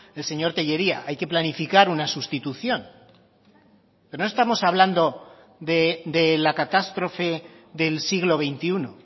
el señor tellería hay que planificar una sustitución pero no estamos hablando de la catástrofe del siglo veintiuno